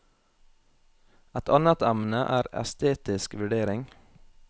Et annet emne er estetisk vurdering.